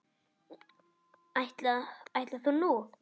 Ætli það nú.